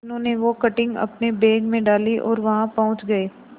मीनू ने वो कटिंग अपने बैग में डाली और वहां पहुंच गए